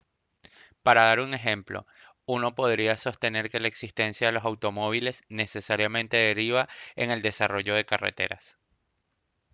para dar un ejemplo uno podría sostener que la existencia de los automóviles necesariamente deriva en el desarrollo de carreteras